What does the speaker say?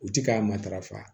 U ti k'a matarafa